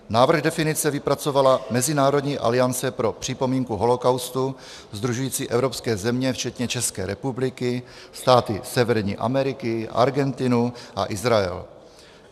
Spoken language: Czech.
Návrh definice vypracovala Mezinárodní aliance pro připomínku holocaustu sdružující evropské země včetně České republiky, státy Severní Ameriky, Argentinu a Izrael.